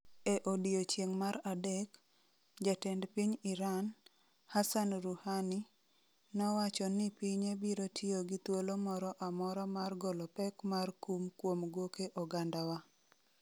E odiechieng' mar adek, jatend piny Iran, Hassan Rouhani, nowacho ni pinye biro tiyo gi "thuolo moro amora" mar "golo pek mar kum kuom goke ogandawa".